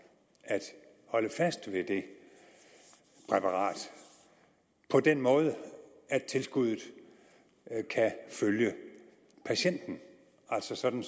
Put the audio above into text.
at holde fast ved det præparat på den måde at tilskuddet kan følge patienten altså sådan